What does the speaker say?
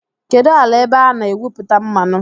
Kedụ ala ebe a na-egwupụta mmanụ?